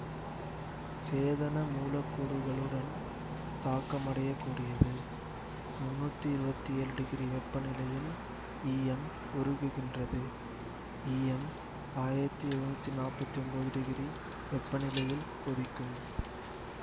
சேதன மூலக்கூறுகளுடன் தாக்கமடையக்கூடியது முன்னூற்றி இருவத்தி ஏழு டிகிரி வெப்பநிலையில் ஈயம் உருகுகின்றது ஈயம் ஆயிரத்தி எழுநூத்தி நாற்பத்தி ஒன்போது டிகிரி வெப்பநிலையில் கொதிக்கும்